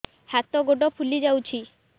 ହାତ ଗୋଡ଼ ଫୁଲି ଯାଉଛି